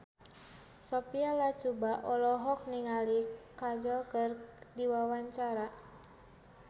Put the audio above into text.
Sophia Latjuba olohok ningali Kajol keur diwawancara